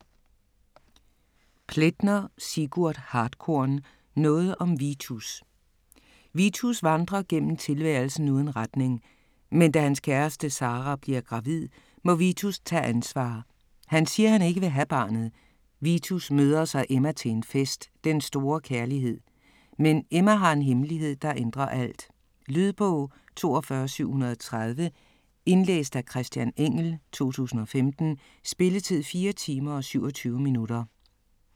Plaetner, Sigurd Hartkorn: Noget om Vitus Vitus vandrer gennem tilværelsen uden retning. Men da hans kæreste Sara bliver gravid, må Vitus tage ansvar - han siger han ikke vil have barnet. Vitus møder så Emma, til en fest. Den store kærlighed. Men Emma har en hemmelighed, der ændrer alt. Lydbog 42730 Indlæst af Christian Engell, 2015. Spilletid: 4 timer, 27 minutter.